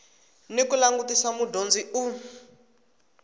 ni ku langutisa mudyondzi u